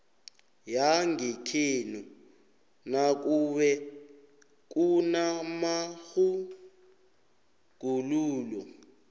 yangekhenu nakube kunamatjhuguluko